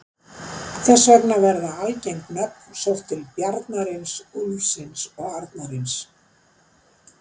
Þess vegna verða algeng nöfn sótt til bjarnarins, úlfsins og arnarins.